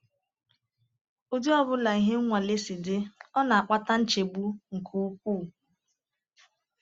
Ụdị ọ bụla ihe nwale si dị, ọ na-akpata nchegbu nke ukwuu.